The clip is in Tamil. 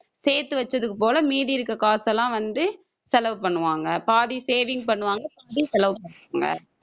சேர்த்து வச்சது போல மீதி இருக்கிற காசெல்லாம் வந்து செலவு பண்ணுவாங்க. பாதி saving பண்ணுவாங்க மீதி செலவு பண்ணுவாங்க